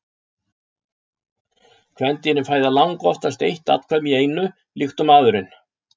Kvendýrin fæða langoftast eitt afkvæmi í einu líkt og maðurinn.